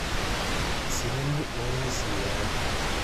eseriani oo nguesi e eng